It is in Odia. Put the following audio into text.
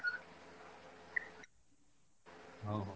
ହଉ, ହଉ